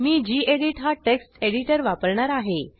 मी गेडीत हा text editor वापरणार आहे